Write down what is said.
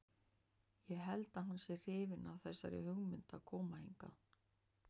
Ég held að hann sé hrifinn af þessari hugmynd að koma hingað.